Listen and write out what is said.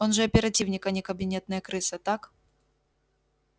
он же оперативник а не кабинетная крыса так